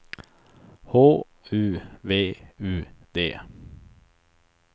H U V U D